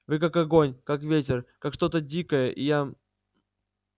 вы как огонь как ветер как что-то дикое и я